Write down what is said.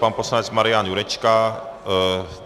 Pan poslanec Marian Jurečka.